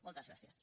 moltes gràcies